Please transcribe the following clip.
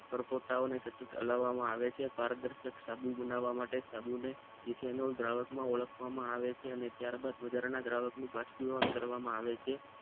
પરપોટા સતત હાલમાં આવે છે પારદર્શક સાબુ બનવા માટે સાબુ ઈનોલ દ્રાવક માં ઓળખવામાં આવે છે અને ત્યારબાદ વધારાના દ્રાવકનું બાષ્પીભવન કરવામાં આવે છે